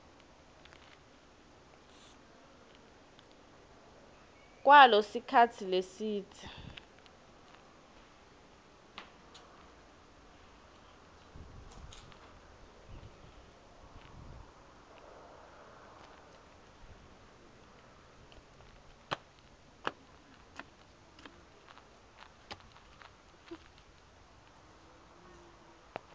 kwalo sikhatsi lesidze